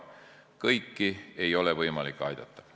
Kõiki ei ole võimalik aidata.